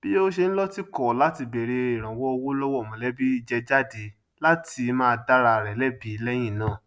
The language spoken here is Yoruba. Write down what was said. bí ó ṣe ń lọtìkọ láti bèrè ìrànwọ owó lọwọ mọlẹbí jẹ jade látí má dàra rẹ lẹbí lẹyìn náà